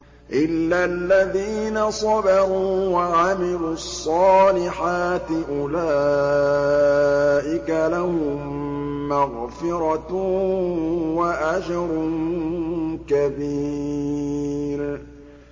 إِلَّا الَّذِينَ صَبَرُوا وَعَمِلُوا الصَّالِحَاتِ أُولَٰئِكَ لَهُم مَّغْفِرَةٌ وَأَجْرٌ كَبِيرٌ